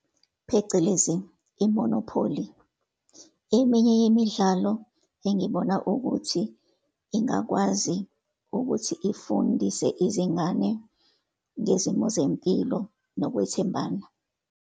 Phecelezi, i-Monopoly, eminye yemidlalo engibona ukuthi ingakwazi ukuthi ifundise izingane ngezimo zempilo nokwethembana.